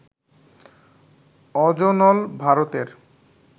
অজনল, ভারতের